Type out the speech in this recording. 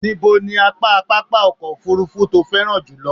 Ibo ní apá pápá ọkọ̀ òfurufú tó o féràn jùlọ?